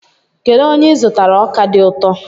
Kedu onye ị zụtara ọka dị ụtọ?